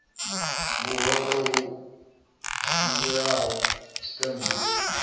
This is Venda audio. ya hoda yo givhieaho tshiṱemmbe